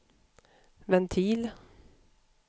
ventil